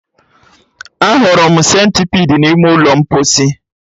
Ahụrụ m Sentipidi n'ime ụlọ mposi